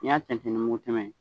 N' y'a tɛntɛn ni mugu tɛmɛn ye.